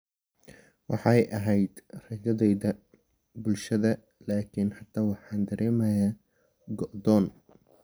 "Waxay ahayd rajadayada bulshada, laakiin hadda waxaan dareemayaa go'doon.